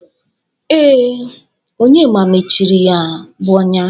Ee, Onyema mechiri ya bụ ọnya.